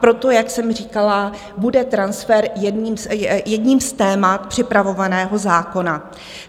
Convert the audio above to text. Proto, jak jsem říkala, bude transfer jedním z témat připravovaného zákona.